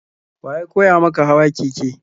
Wa ya koya maka hawa keke?